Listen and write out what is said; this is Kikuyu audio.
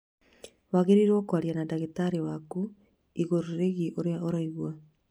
Wagĩrĩirũo kwaria na ndagĩtarĩ waku igũrũ rĩgiĩ ũrĩa ũraigua.